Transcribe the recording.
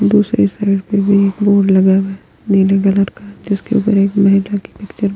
दूसरी साइड पे भी एक बोर्ड लगा हुआ है नीले कलर का जिसके ऊपर एक मेढ़क की पिक्चर --